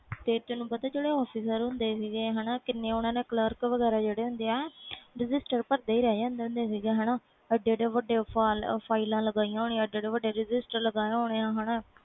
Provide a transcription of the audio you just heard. ਤੇ ਤੈਨੂੰ ਪਤਾ ਜਿਹੜੇ officer ਹੁੰਦੇ ਸੀ ਕਿ ਕਿੰਨਾ clerk ਪਹਿਲੇ registered ਭਰ ਦੇ ਰਹਿੰਦੇ ਸੀ ਵੱਡੀਆਂ ਵੱਡੀਆਂ ਫਾਈਲ ਲੱਗਿਆ ਹੋਣੀਆਂ ਵੱਡੇ ਵੱਡੇ registered ਲਗੇ ਹੋਣੇ